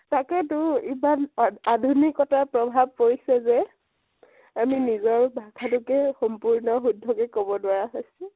তাকেইতো ইমান আধ আধুনিকতাৰ প্ৰভাব পৰিছে যে। আমি নিজৰ ভাষাটোকে সম্পূৰ্ণ শুদ্ধকে কব নোৱাৰা হৈছো।